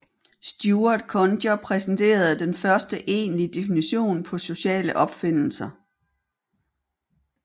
Stuart Conger præsenterede den første egentlige definition på sociale opfindelser